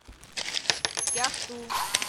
кяхту